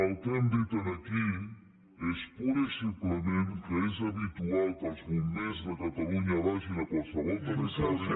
el que hem dit aquí és purament i simplement que és habitual que els bombers de catalunya vagin a qualsevol territori